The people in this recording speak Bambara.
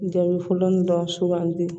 Jaabi fɔlɔ dɔrɔn sugandi